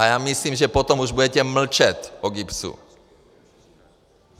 A já myslím, že potom už budete mlčet o GIBSu.